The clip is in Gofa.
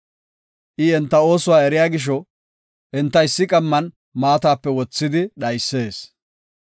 I enta oosuwa eriya gisho, enta issi qamman maatape wothidi dhaysees.